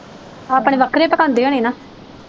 ਆਪਣੇ ਵੱਖਰੇ ਪਕਾਉਂਦੇ ਨੇ ਨਾ?